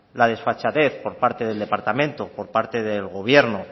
la desfachatez por parte del departamento por parte del gobierno